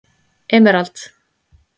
Emerald